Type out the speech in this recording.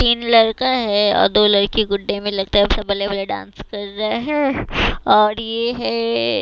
तीन लड़का है और दो लड़की गुड्डे में लगता है सब बल्ले बल्ले डांस कर रहा है और ये है--